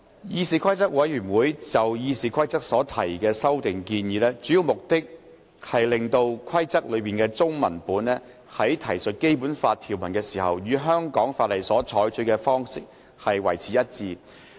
議事規則委員會就《議事規則》所提的修訂建議，主要目的是讓其中文文本在提述《基本法》條文時，與香港法例所採取的方式一致。